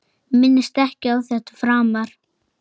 Minnist ekki á þetta framar.